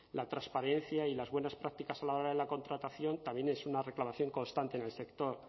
la transparencia y las buenas prácticas a la hora de la contratación también es una reclamación constante en el sector